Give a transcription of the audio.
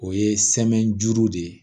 O ye sɛmɛ juru de ye